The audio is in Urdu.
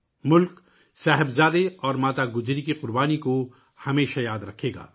ملک ، صاحبزادے اور ماتا گجری کی قربانیوں کو ہمیشہ یاد رکھے گا